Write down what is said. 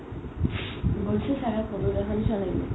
গৈছে ছাগে ফটৌ দেখা নিচিনা লাগিল